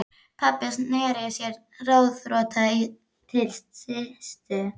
Pabbi sneri sér ráðþrota til Systu.